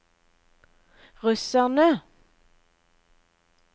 russerne